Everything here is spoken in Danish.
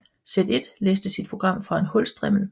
Z1 læste sit program fra en hulstrimmel